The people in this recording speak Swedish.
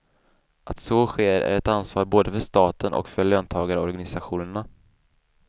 Att så sker är ett ansvar både för staten och för löntagarorganisationerna.